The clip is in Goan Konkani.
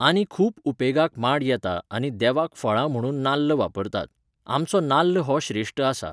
आनी खूब उपेगाक माड येता आनी देवाक फळां म्हणून नाल्ल वापरतात. आमचो नाल्ल हो श्रेश्ट आसा